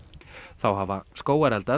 þá hafa